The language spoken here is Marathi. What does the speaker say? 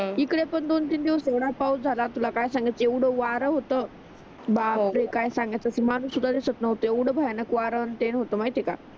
इकडे पण दोन तीन दिवस एवढा पाऊस झाला तुला काय सांगु एवढ वारा होत बापरे काय सांगायचा माणूस सुद्धा दिसत नव्हते एवढा भयानक वारा न ते होतो माहित आहे का